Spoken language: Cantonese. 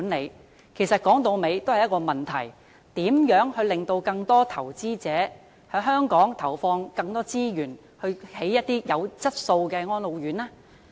說到底，這其實關乎一個問題：如何令更多投資者在香港投放更多資源興建有質素的安老院呢？